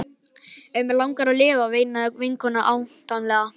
En mig langar að lifa, veinaði vinkonan ámátlega.